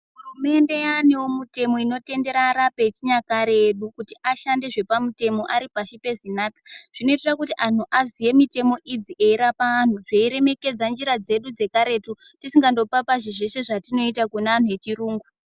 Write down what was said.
Hurumende yaanewo mutemo inotendera arapi echinyakare edu kuti ashande zvepamutemo aripashi peZinatha zvinoitira kuti anhu aziye mitemo idzi eirapa anhu zveiremekedza njira dzedu dzekaretu tisikandopapazhi zveshe zvatinoita kune anhu echirungu.